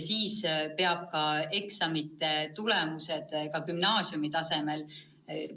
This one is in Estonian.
Siis peab eksamite tulemused ka gümnaasiumitasemel lõpetamise tingimustest välja jätma.